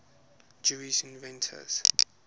jewish inventors